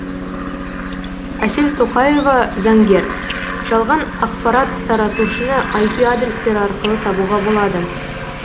әсел тоқаева заңгер жалған ақапарат таратушыны айпи адрестер арқылы табуға болады